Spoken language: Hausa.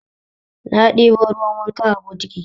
Na ɗebo ruwan wanka a bukiti